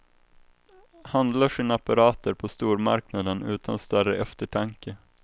Handlar sina apparater på stormarknaden utan större eftertanke.